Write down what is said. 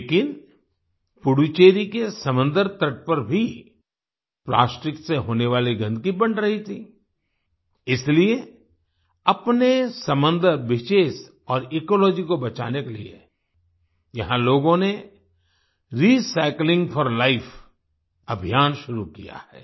लेकिन पुडुचेरी के समंदर तट पर भी प्लास्टिक से होने वाली गंदगी बढ़ रही थी इसलिये अपने समंदर बीचेस और इकोलॉजी को बचाने के लिए यहाँ लोगों ने रिसाइक्लिंग फोर लाइफ अभियान शुरू किया है